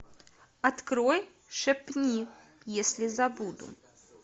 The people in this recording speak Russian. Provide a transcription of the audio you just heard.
открой шепни если забуду